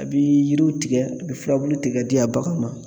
A bi yiriw tigɛ a bi furabulu k'a tigɛ di a baganw ma.